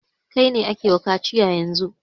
Kai ne ake wa kaciya yanzun!